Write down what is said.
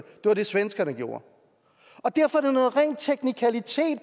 var det svenskerne gjorde derfor er det rent teknikalitet